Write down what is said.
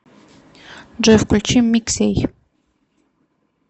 джой включи миксей